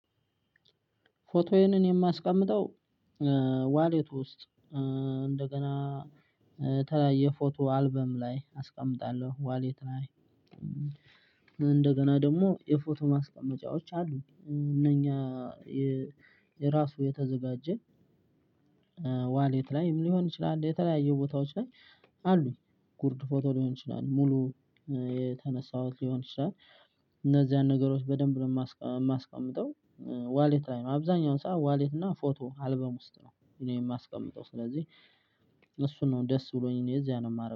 ፎቶዬን እኔ የማስቀምጠው ዋሌት ውስጥ እንደገና የተለያየ የፎቶ አልበም ላይ አስቀምጣለሁ። ዋሌት ላይ እንደገና ደግሞ የፎቶ ማስቀመጫዎች አሉ እነኛ የራሱ የተዘጋጀ ዋሌት ላይም ሊሆን ይችላል የተለያዩ ቦታዎች ላይ አሉኝ ጉርድ ፎቶ ሊሆን ይችላል ሙሉ የተነሳሁት ሊሆን ይችላል እነዚያን ነገሮች በደንብ ነው የማስቀምጠው ዋሌት ላይ ነው አብዛኛውን ሰዓት ዋሌት እና ፎቶ አልበም ውስጥ ነው። እኔ የማስቀምጠው። ስለዚህ እሱን ነው ደስ ብሎኝ እኔ እዚያ ነው የማረገው።